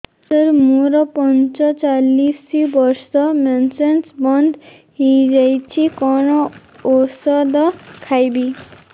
ସାର ମୋର ପଞ୍ଚଚାଳିଶି ବର୍ଷ ମେନ୍ସେସ ବନ୍ଦ ହେଇଯାଇଛି କଣ ଓଷଦ ଖାଇବି